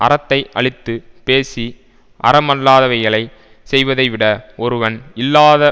அறத்தை அழித்து பேசி அறமல்லாதவைகளைச் செய்வதை விட ஒருவன் இல்லாத